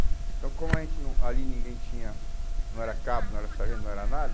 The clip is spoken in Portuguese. Então como a gente não, ali ninguém tinha, não era cabo, não era sargento, não era nada...